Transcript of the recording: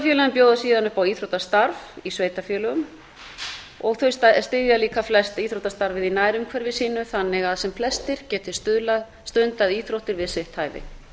íþróttafélögin bjóða síðan upp á íþróttastarf í sveitarfélögum og þau styðja líka flest íþróttastarfið í nærumhverfi sínu þannig að sem flestir geti stundað íþróttir við sitt hæfi